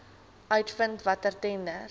uitvind watter tenders